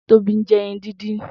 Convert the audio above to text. Tobi n jẹ ẹyin dindin